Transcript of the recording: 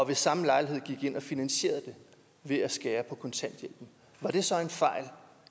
ved samme lejlighed ind og finansierede det ved at skære på kontanthjælpen var det så en fejl